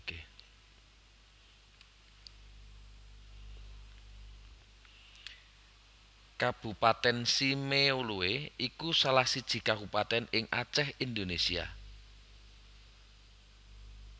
Kabupatèn Simeulue iku salah siji kabupatèn ing Acèh Indonésia